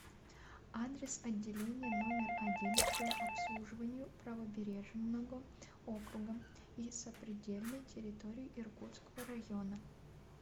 адрес отделение номер один по обслуживанию правобережного округа и сопредельной территории иркутского района